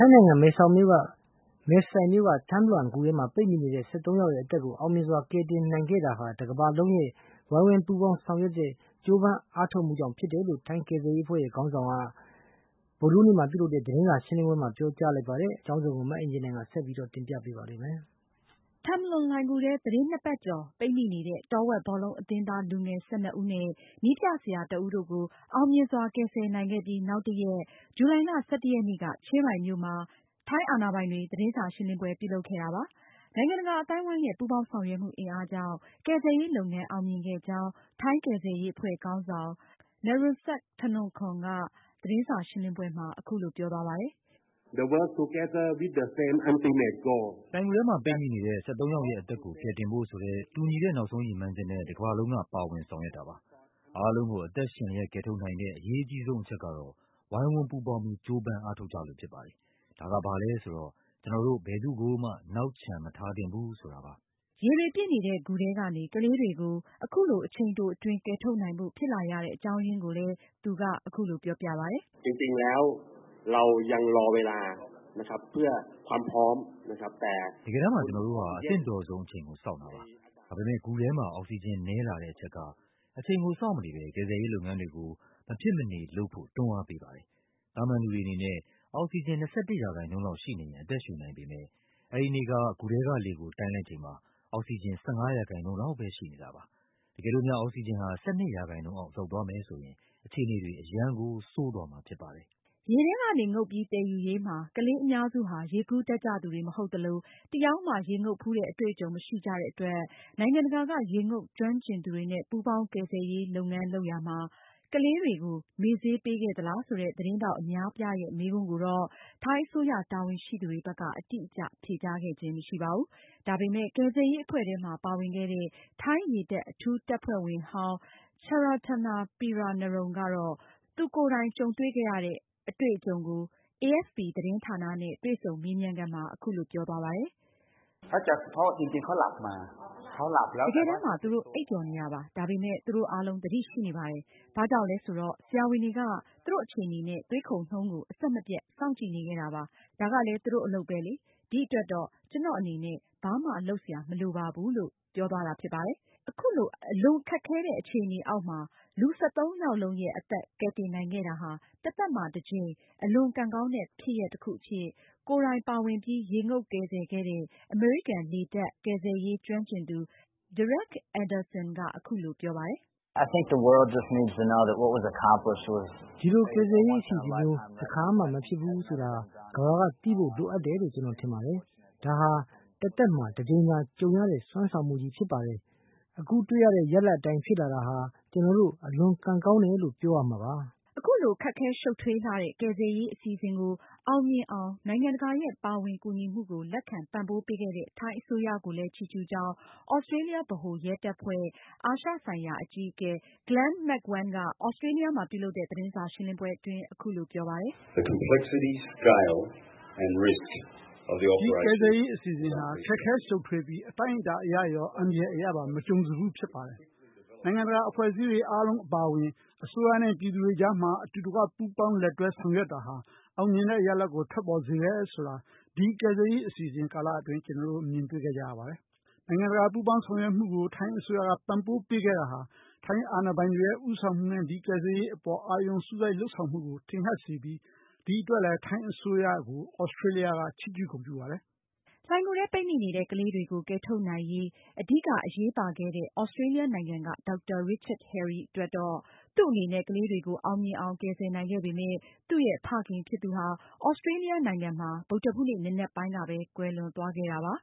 င်းနိုင်ငံ မယ်ဆိုင်မြို့က Tham Luang လှိုင်ဂူထဲ ပိတ်မိနေတဲ့ ၁၃ ယောက်ရဲ့ အသက်ကိုအောင်မြင်စွာ ကယ်တင်နိုင်ခဲ့တာဟာ တကမ္ဘာလုံးရဲ့ ဝိုင်းဝန်းပူးပေါင်းဆောင်ရွက် ကြိုးပမ်းအားထုတ်မှုကြောင့် ဖြစ်တယ်လို့ ထိုင်း ကယ်ဆယ်ရေးအဖွဲ့ခေါင်းဆောင် က မနေ့ ဗုဒ္ဓဟူးနေ့ကပြုလုပ်တဲ့ သတင်းစာရှင်းလင်းပွဲမှာ ပြောကြားလိုက်ပါတယ်။ နိုင်ငံတကာရဲ့ ပူးပေါင်းဆောင်ရွက်မှုကို ပံ့ပိုးပေးခဲ့တဲ့ ထိုင်းအစိုးရကိုလည်း သြစတြေးလျအပါအဝင် နိုင်ငံတကာကလည်း ချီးကျူးဂုဏ်ပြုခဲ့ပါတယ်။ မအင်ကြင်းနိုင်က ဆက်လက်တင်ပြမှာပါ။ Tham Luang လှိုင်ဂူထဲ သတင်းနှစ်ပတ်ကျော် ပိတ်မိနေတဲ့ တောဝက်ဘောလုံးအသင်းသားလူငယ် ၁၂ ဦးနဲ့ နည်းပြဆရာ တဦးတို့ကို အောင်မြင်စွာ ကယ်ဆယ်နိုင်ခဲ့ပြီးနောက်တရက် ဇူလိုင်လ ၁၁ ရက်နေ့က ချင်းရိုင်မြို့မှာ ထိုင်းအာဏာပိုင်တွေ သတင်းစာ ရှင်းလင်းပွဲပြုလုပ်ခဲ့တာပါ။ နိုင်ငံတကာအသိုင်းအဝိုင်းရဲ့ ပူးပေါင်းဆောင်ရွက်မှုအင်အားကြောင့် ကယ်ဆယ်ရေးလုပ်ငန်းအောင်မြင်ခဲ့ကြောင်း ထိုင်းကယ်ဆယ်ရေးအဖွဲ့ခေါင်းဆောင် Narongsak Osottanakorn ကသတင်းစာရှင်းလင်းပွဲမှာ အခုလိုပြောသွားပါတယ်။ “လှိုင်ဂူထဲမှာ ပိတ်မိနေတဲ့ ၁၃ ယောက်ရဲ့ အသက်ကိုကယ်တင်ဖို့ ဆိုတဲ့ တူညီတဲ့ နောက်ဆုံးရည်မှန်းချက်နဲ့ တကမ္ဘာလုံးက ပါဝင်ဆောင်ရွက်ခဲ့တာပါ။ အားလုံးကို အသက်ရှင်လျှက် ကယ်ထုတ်နိုင်ခဲ့တဲ့ အရေးကြီးဆုံးအချက်ကတော့ ဝိုင်းဝန်းပူးပေါင်းပြီး ကြိုးပမ်းအားထုတ်ခဲ့ကြလို့ဖြစ်ပါတယ်။ ဒါဟာဘာလဲဆိုတော့ ကျနော်တို့ ဘယ်သူ့ကိုမှ နောက်ချန်မထားသင့်ဘူး ဆိုတာပါ။" ရေတွေပြည့်နေတဲ့ ဂူထဲကနေ ကလေးတွေကို အခုလို အချိန်တိုအတွင်း ကယ်ထုတ်နိုင်ဖို့ ဖြစ်လာရတဲ့အကြောင်းအရင်းကိုလည်း သူက အခုလိုပြောပြပါတယ်။ “တကယ်တမ်းမှာ ကျနော်တို့ဟာ အသင့်တော်ဆုံးအချိန်ကို စောင့်နေခဲ့တာပါ။ ဒါပေမယ့် ဂူထဲမှာ အောက်စီဂျင်နည်းလာတဲ့အချက်က အချိန်ကို စောင့်မနေပဲ ကယ်ဆယ်ရေးလုပ်ငန်းတွေကို မဖြစ်မနေလုပ်ဖို့ တွန်းအားပေးခဲ့ပါတယ်။ သာမန်လူတွေအနေနဲ့ အောက်စီဂျင် ၂၁% လောက်ရှိနေရင် အသက်ရှုနိုင်ပေမဲ့ အဲဒီနေ့က ဂူထဲကလေ ကို တိုင်းလိုက်ချိန်မှာ အောက်စီဂျင် ၁၅% လောက်ပဲရှိနေတာပါ။ တကယ်လို့များ အောက်စီဂျင်ဟာ ၁၂% အောက်ရောက်သွားမယ်ဆိုရင် အခြေအနေတွေ အရမ်းကို ဆိုးသွားမှာဖြစ်ပါတယ်။” ရေထဲကနေ ငုပ်ပြီးသယ်ယူရေးမှာ ကလေးအများစုဟာ ရေကူးတတ်ကြသူတွေမဟုတ်သလို တယောက်မှ ရေငုပ်ဖူးတဲ့ အတွေ့အကြုံမရှိကြတဲ့အတွက် နိုင်ငံတကာက ရေငုပ်ကျွမ်းကျင်သူတွေနဲ့ ပူးပေါင်းကယ်ဆယ်ရေးလုပ်ရာမှာ ကလေးတွေကို မေ့ဆေးပေးခဲ့သလားဆိုတဲ့ သတင်းထောက်အများအပြားရဲ့ မေးခွန်းကို ထိုင်းအစိုးရတာဝန်ရှိသူတွေဘက်က အတိအကျ ဖြေကြားခြင်းမရှိခဲ့ပါဘူး။ ဒါပေမဲ့ ကယ်ဆယ်ရေးအဖွဲ့ထဲမှာပါဝင်ခဲ့တဲ့ ထိုင်းရေတပ်အထူးတပ်ဖွဲ့ဝင်ဟောင်း Chaiyananta Peeranarong ကတော့ သူတွေ့ခဲ့ရတဲ့ အတွေ့အကြုံကို AFP သတင်းဌာနနဲ့ တွေ့ဆုံမေးမြန်းခန်းမှာ အခုလို ပြောသွားပါတယ်။ “တကယ်တမ်းမှာ သူတို့အိပ်ပျော်နေတာပါ။ ဒါပေမဲ့ သူတို့အားလုံး သတိရှိနေပါတယ်။ ဘာကြောင့်လဲဆိုတာ ဆရာဝန်တွေက သူတို့အခြေအနေနဲ့ သွေးခုန်နှုန်းကို အဆက်မပြတ် စောင့်ကြည့်နေခဲ့တာပါ။ ဒါကလည်း သူတို့အလုပ်ပဲလေ။ ဒီအတွက်တော့ ကျနော်အနေနဲ့ ဘာမှ လုပ်စရာမလိုပါဘူး။” အလွန်ခက်ခဲတဲ့ အခြေအနေအောက်မှာ လူ ၁၃ ယောက်လုံးရဲ့အသက်တွေကို ကယ်ဆယ်နိုင်ခဲ့တာဟာ တသက်မှာတကြိမ် အလွန်ကံကောင်းတဲ့ ဖြစ်ရပ်တခုအဖြစ် ကိုယ်တိုင်ပါဝင်ပြီး ရေငုပ်ကယ်ဆယ်ခဲ့တဲ့ အမေရိကန်လေတပ် ကယ်ဆယ်ရေးကျွမ်းကျင်သူ Derek Anderson ကအခုလိုပြောပါတယ်။ “ဒီလိုကယ်ဆယ်ရေးအစီအစဉ်မျိုး တခါမှ မဖြစ်ဖူး ဘူးဆိုတာ ကမ္ဘာကသိဖို့ လိုအပ်တယ်လို့ ကျနော်ထင်ပါတယ်။ ဒါဟာ တသက်မှာ တကြိမ်သာကြုံရတဲ့ စွမ်းဆောင်မှုကြီးဖြစ်ပါတယ်။ အခုတွေ့ရတဲ့ ရလာဒ်အတိုင်း ဖြစ်လာတာဟာ ကျနော်တို့ အလွန်ကံကောင်းတယ်လို့ ပြောရမှာပါ။” အခုလို ခက်ခဲရှုပ်ထွေးလှတဲ့ ကယ်ဆယ်ရေးမျိုးအစီအစဉ်ကို အောင်မြင်အောင် နိုင်ငံတကာရဲ့ ပါဝင်ကူညီမှုကို လက်ခံပံ့ပိုးပေးခဲ့တဲ့ ထိုင်းအစိုးရကို ချီးကျူးကြောင်း သြစတတြေးလျ ဗဟိုရဲတပ်ဖွဲ့ အာရှဆိုင်ရာအကြီးအကဲ Glen McEwen က သြစတြေးလျမှာ ပြုလုပ်တဲ့ သတင်းစာရှင်းလင်းပွဲအတွင်း အခုလိုပြောပါတယ်။ “ဒီကယ်ဆယ်ရေးအစီအစဉ်ဟာ ခက်ခဲရှုပ်ထွေးပြီး အတိုင်းအတာအရရော အန္တရာယ်အရပါ မကြုံစဖူးဖြစ်ပါတယ်။ နိုင်ငံတကာအဖွဲ့အစည်းတွေ အားလုံးအပါအဝင် အစိုးရနဲ့ ပြည်သူတွေ ကြားမှာ အတူတကွပူးပေါင်း လက်တွဲဆောင်ရွက်တာဟာ အောင်မြင်တဲ့ ရလာဒ်ကို ထွက်ပေါ်စေတယ်ဆိုတာ ဒီကယ်ဆယ်ရေး အစီအစဉ်ကာလအတွင်း ကျနော်တို့ မြင်တွေ့ခဲ့ကြရပါတယ်။ နိုင်ငံတကာ ပူးပေါင်းဆောင်ရွက်မှုကို ထိုင်းအစိုးရက ပံ့ပိုးပေးခဲ့တာဟာ ထိုင်းအာဏာပိုင်တွေရဲ့ ဦးဆောင်မှုနဲ့ ဒီကယ်ဆယ်ရေးအပေါ် အာရုံစိုက်မှုလုပ်ဆောင်မှုကို ထင်ဟပ်စေပြီး ဒီအတွက်လည်း ထိုင်းအစိုးရကို သြစတြေးလျက ချီးကျူးဂုဏ်ပြုပါတယ်။” လှိုင်ဂူထဲ ပိတ်မိနေတဲ့ ကလေးတွေကို ကယ်ထုတ်နိုင်ရေး အဓိကအရေးပါခဲ့တဲ့ သြစတြေးလျနိုင်ငံက ဒေါက်တာ Richard Harry အတွက်တော့ သူ့အနေနဲ့ ကလေးတွေကို အောင်မြင်အောင်ကယ်ဆယ်နိုင်ခဲ့ပေမယ့် သူရဲ့ဖခင်ဖြစ်သူကတော့ သြစတြေးလျ နိုင်ငံမှာ ဗုဒ္ဓဟူးနေ့ နံနက်ပိုင်းကပဲ ကွယ်လွန်သွားခဲ့တာပါ